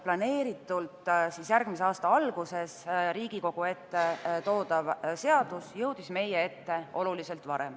Planeeritult järgmise aasta alguses Riigikogu ette toodav seadus jõudis meie ette oluliselt varem.